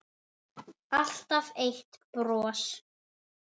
Alltaf eitt bros.